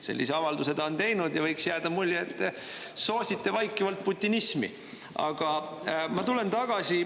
Sellise avalduse ta on teinud ja võiks jääda mulje, et soosite vaikivalt putinismi.